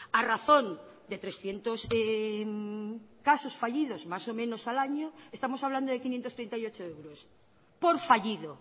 a razón de trescientos casos fallidos más o menos al año estamos hablando de quinientos treinta y ocho euros por fallido